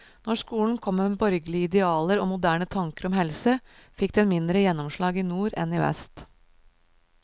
Når skolen kom med borgerlige idealer og moderne tanker om helse, fikk den mindre gjennomslag i nord enn i vest.